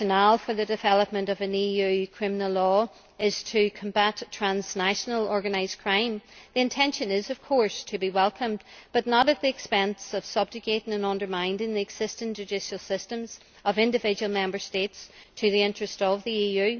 The rationale for the development of an EU criminal law is to combat transnational organised crime. The intention is, of course, to be welcomed, but not at the expense of subjugating and undermining the existing judicial systems of individual Member States to the interests of the EU.